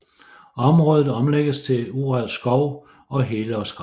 Området omlægges til urørt skov og helårsgræsning